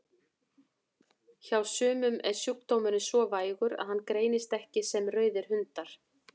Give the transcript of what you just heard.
Hjá sumum er sjúkdómurinn svo vægur að hann greinist ekki sem rauðir hundar.